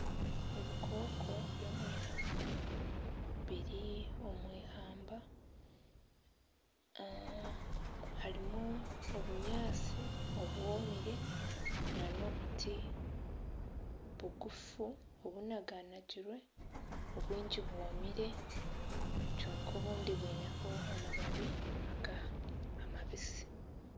Ebikooko by'omwihamba biri omu ihamba harimu obunyatsi obwomire nana obuti bugufu obunaganagirwe obwingi bwomire kwonka obundi bwineho amababi aga amabisi .